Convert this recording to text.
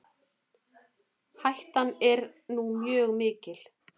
Hættan er nú mjög mikil.